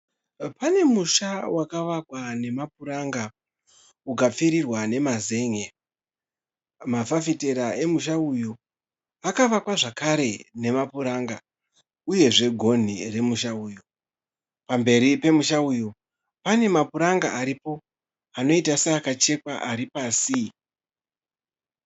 Pane musha wakavakwa nemapuranga ukapfirirwa nemazen'e. Mafafitera emusha uyu akavakwa zvakare nemapuranga uyezve gonhi remusha uyu. Pamberi pemusha uyu pane mapuranga aripo anoita seakachekwa ari pasi.